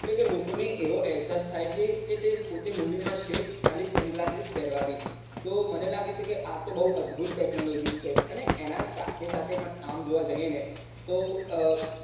કે લોકો ને એવો અહેસાસ થાય છે કે તે પોતે movie માં છે ખાલી sun glasses પહેરવા થી તો મને લાગે છે કે આતો બહુ અદ્ભુત technology છે અને એના સાથે સાથે પણ આમ જોવા જઈએ ને તો અ